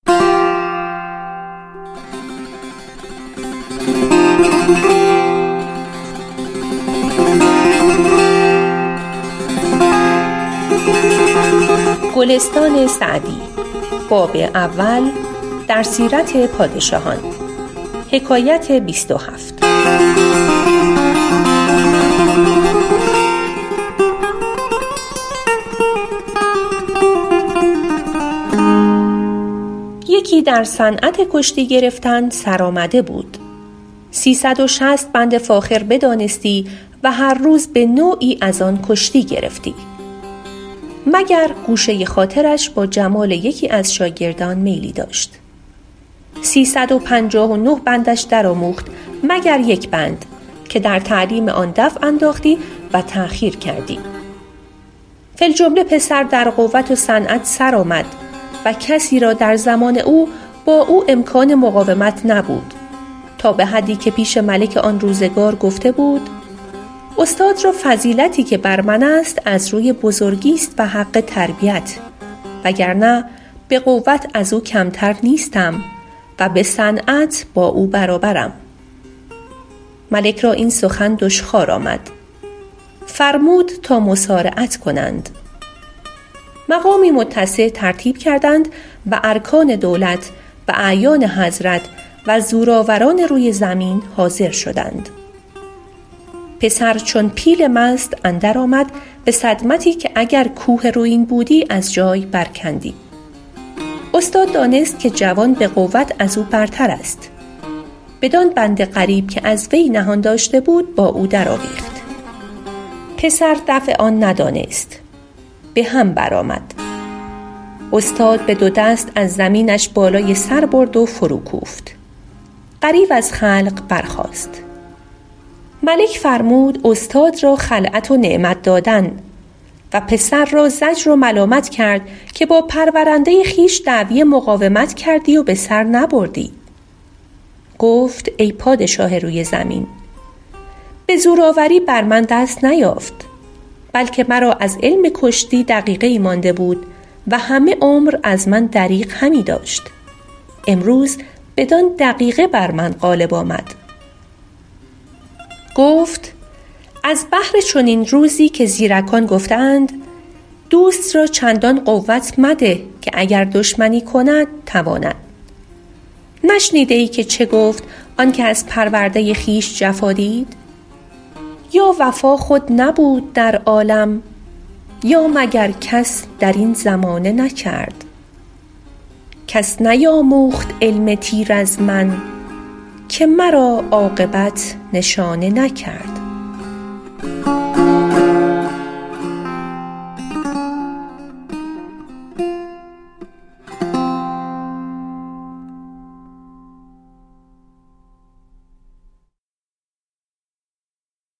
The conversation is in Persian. یکی در صنعت کشتی گرفتن سرآمده بود سی صد و شصت بند فاخر بدانستی و هر روز به نوعی از آن کشتی گرفتی مگر گوشه خاطرش با جمال یکی از شاگردان میلی داشت سی صد و پنجاه و نه بندش در آموخت مگر یک بند که در تعلیم آن دفع انداختی و تأخیر کردی فی الجمله پسر در قوت و صنعت سر آمد و کسی را در زمان او با او امکان مقاومت نبود تا به حدی که پیش ملک آن روزگار گفته بود استاد را فضیلتی که بر من است از روی بزرگیست و حق تربیت وگرنه به قوت از او کمتر نیستم و به صنعت با او برابرم ملک را این سخن دشخوار آمد فرمود تا مصارعت کنند مقامی متسع ترتیب کردند و ارکان دولت و اعیان حضرت و زورآوران روی زمین حاضر شدند پسر چون پیل مست اندر آمد به صدمتی که اگر کوه رویین بودی از جای بر کندی استاد دانست که جوان به قوت از او برتر است بدان بند غریب که از وی نهان داشته بود با او در آویخت پسر دفع آن ندانست به هم بر آمد استاد به دو دست از زمینش بالای سر برد و فرو کوفت غریو از خلق برخاست ملک فرمود استاد را خلعت و نعمت دادن و پسر را زجر و ملامت کرد که با پرورنده خویش دعوی مقاومت کردی و به سر نبردی گفت ای پادشاه روی زمین به زورآوری بر من دست نیافت بلکه مرا از علم کشتی دقیقه ای مانده بود و همه عمر از من دریغ همی داشت امروز بدان دقیقه بر من غالب آمد گفت از بهر چنین روزی که زیرکان گفته اند دوست را چندان قوت مده که دشمنی کند تواند نشنیده ای که چه گفت آن که از پرورده خویش جفا دید یا وفا خود نبود در عالم یا مگر کس در این زمانه نکرد کس نیاموخت علم تیر از من که مرا عاقبت نشانه نکرد